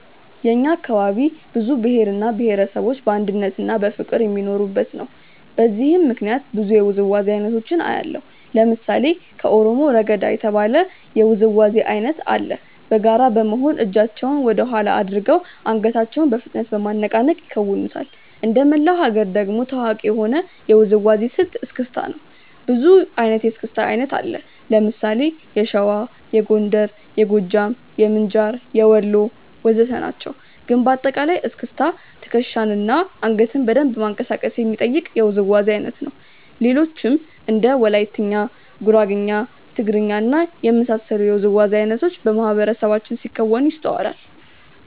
የእኛ አካባቢ ብዙ ብሄር እና ብሄረሰቦች በአንድነትና በፍቅር የሚኖሩበት ነው። በዚህም ምክንያት ብዙ የውዝዋዜ አይነቶችን አያለሁ። ለምሳሌ ከኦሮሞ "ረገዳ" የተባለ የውዝዋዜ አይነት አለ። በጋራ በመሆን እጃቸውን ወደኋላ አድርገው አንገታቸውን በፍጥነት በማነቃነቅ ይከውኑታል። እንደመላው ሀገር ደግሞ ታዋቂ የሆነው የውዝዋዜ ስልት "እስክስታ" ነው። ብዙ አይነት የእስክስታ አይነት አለ። ለምሳሌ የሸዋ፣ የጎንደር፣ የጎጃም፣ የምንጃር፣ የወሎ ወዘተ ናቸው። ግን በአጠቃላይ እስክስታ ትከሻን እና አንገትን በደንብ ማንቀሳቀስ የሚጠይቅ የውዝዋዜ አይነት ነው። ሌሎችም እንደ ወላይትኛ፣ ጉራግኛ፣ ትግርኛ እና የመሳሰሉት የውዝዋዜ አይነቶች በማህበረሰባችን ሲከወኑ ይስተዋላል።